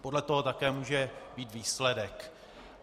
Podle toho také může být výsledek.